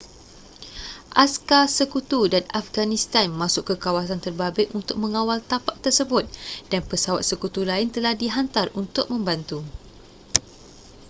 askar sekutu dan afghanistan masuk ke kawasan terbabit untuk mengawal tapak tersebut dan pesawat sekutu lain telah dihantar untuk membantu